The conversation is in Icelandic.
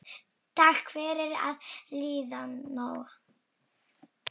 Takk fyrir það liðna.